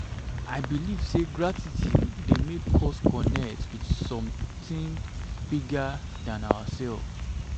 i believe say gratitude dey make us connect with something bigger than ourselves.